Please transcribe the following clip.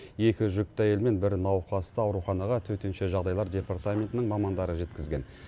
екі жүкті әйел мен бір науқасты ауруханаға төтенше жағдайлар департаментінің мамандары жеткізген